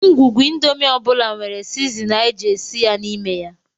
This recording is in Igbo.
Ngwugwu indomin ọ bụla nwere sizinin a ji esi ya n'ime ya